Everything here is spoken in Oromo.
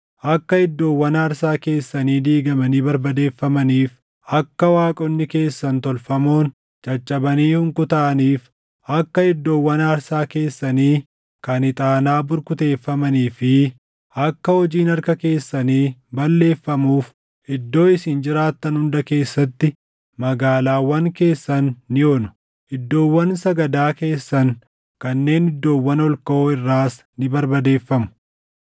Akka iddoowwan aarsaa keessanii diigamanii barbadeeffamaniif, akka waaqonni keessan tolfamoon caccabanii hunkutaaʼaniif, akka iddoowwan aarsaa keessanii kan ixaanaa burkuteeffamanii fi akka hojiin harka keessanii balleeffamuuf iddoo isin jiraattan hunda keessatti magaalaawwan keessan ni onu; iddoowwan sagadaa keessan kanneen iddoowwan ol kaʼoo irraas ni barbadeeffamu.